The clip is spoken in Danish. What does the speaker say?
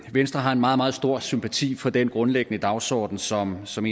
at venstre har en meget meget stor sympati for den grundlæggende dagsordenen som som